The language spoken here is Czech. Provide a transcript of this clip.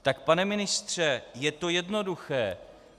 Tak pane ministře, je to jednoduché.